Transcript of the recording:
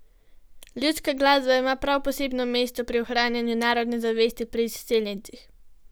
Ljudska glasba ima prav posebno mesto pri ohranjanju narodne zavesti pri izseljencih.